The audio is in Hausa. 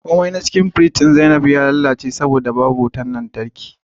komai na cikin firjin zaibab ya lalace saboda kwanaki ba a samu wutar lantarki ba